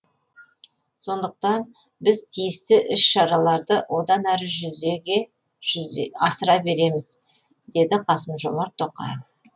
сондықтан біз тиісті іс шараларды одан әрі жүзеге асыра береміз деді қасым жомарт тоқаев